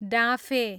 डाँफे